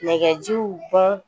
Nɛgɛjiw bɔn